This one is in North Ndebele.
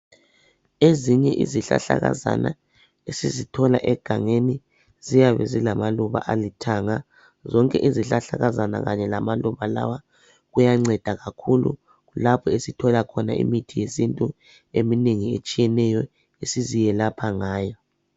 Ezinye izihlahlakazana esizithola egangeni ziyabe zilamaluba alithanga. Zonke izihlahlakazana kanye lamaluba lawa kuyanceda kakhulu kulapho esithola khona imithi yesintu eminengi etshiyeneyo esiziyelapha ngayo.